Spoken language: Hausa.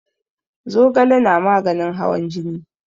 Zogale na maganin hawan jini.